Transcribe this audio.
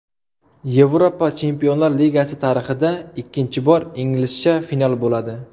Yevropa Chempionlar Ligasi tarixida ikkinchi bor inglizcha final bo‘ladi.